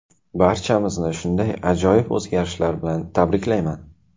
Barchamizni shunday ajoyib o‘zgarishlar bilan tabriklayman!